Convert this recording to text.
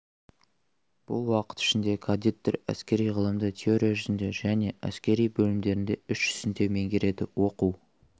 бұл уақыт ішінде кадеттер әскери ғылымды теория жүзінде және әскери бөлімдерінде іс жүзінде меңгереді оқу